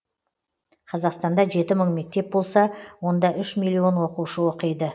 қазақстанда жеті мың мектеп болса онда үш миллион оқушы оқиды